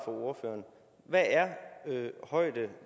ordføreren hvad er højde